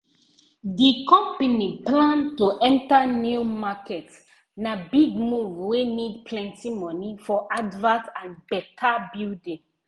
the company plan to enter new market na big move wey need plenty money for advert and better building